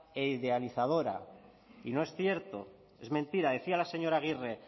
idealizadora y no es cierto es mentira decía la señora agirre